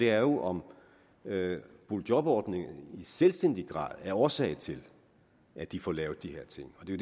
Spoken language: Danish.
er jo om boligjobordningen i selvstændig grad er årsag til at de får lavet de her ting og det